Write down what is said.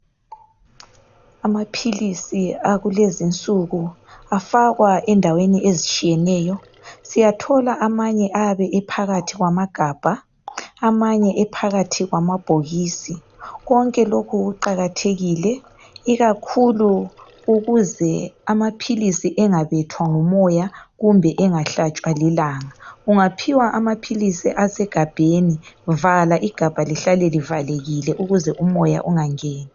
amaphilisi akulezinsuku afakwa endaweni ezitshiyeneyo siyathola amanye ayabe ephakathi kwamagabha amanye ephakathi kwamabhokisi konke lokhu kuqakathekile ikakahulu ukuze amaphilisi engaze abethwa ngumoya kumbe engahlatshwa lilanga ungaphiwa amaphilisi asegabheni vala igabha lihlale livalekile ukuze umoya ungangeni